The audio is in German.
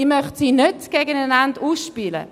Ich möchte sie nicht gegeneinander ausspielen.